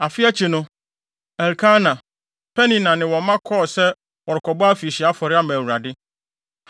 Afe akyi no, Elkana, Penina, ne wɔn mma kɔɔ sɛ wɔrekɔbɔ afirihyia afɔre ama Awurade.